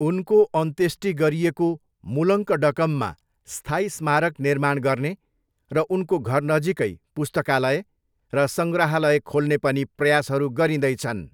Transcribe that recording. उनको अन्त्येष्टि गरिएको मूलङ्कडकममा स्थायी स्मारक निर्माण गर्ने र उनको घरनजिकै पुस्तकालय र सङ्ग्रहालय खोल्ने पनि प्रयासहरू गरिँदैछन्।